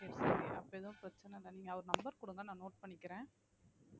சரி okay அப்போ எதும் பிரச்னை இல்ல நீங்க அவர் number குடுங்க நான் note பண்ணிக்கிறேன்